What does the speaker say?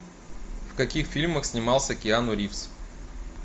в каких фильмах снимался киану ривз